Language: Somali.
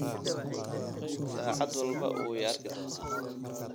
Saacad walba wuu i arki doonaa